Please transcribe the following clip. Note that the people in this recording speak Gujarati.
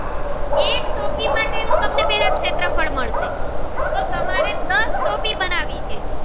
શેત્રફ્ળ મળશે તો તમારે દસ ટોપી બનાવી છે.